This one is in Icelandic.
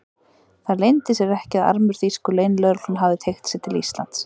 Það leyndi sér ekki, að armur þýsku leynilögreglunnar hafði teygt sig til Íslands.